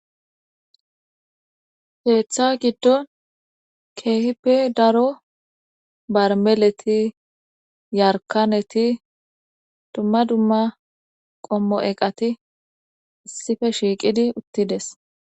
Keeththa giddon keehippe daro barmeleti yarkaneti dumma dumma qommo eqati issife shiiqidi uttides.